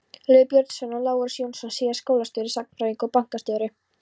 Lýður Björnsson og Lárus Jónsson- síðar skólastjóri, sagnfræðingur og bankastjóri.